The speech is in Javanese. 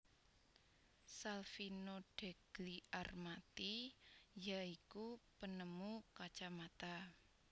Salvino Degli Armati ya iku penemu kacamata